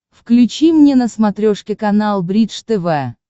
включи мне на смотрешке канал бридж тв